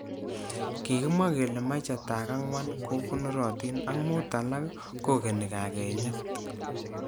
Kikimwa kele maichatak angwan kokonorotin ak mut alak kokeni kakenyet.